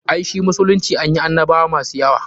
Ai shi musulunci anyi annabwa masu yawa.